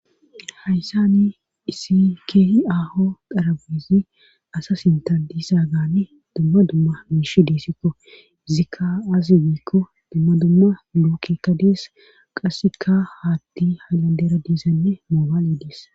hayssani isi keehi aho darabizi asa sinta disa gaani dumma dumma miish diissikko izikka aasi biikko dumma dumma lookekka dees qasseka haatti haylandera diizanne moobaale diis